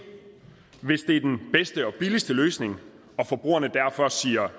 hvis det er den bedste og billigste løsning og forbrugerne derfor siger